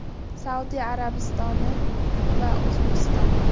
Saudiya Arabistoni va O‘zbekiston.